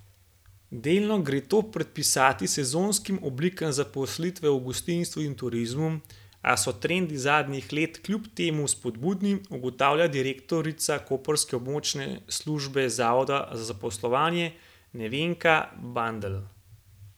Delno gre to pripisati sezonskim oblikam zaposlitve v gostinstvu in turizmu, a so trendi zadnjih let kljub temu spodbudni, ugotavlja direktorica koprske območne službe zavoda za zaposlovanje Nevenka Bandelj.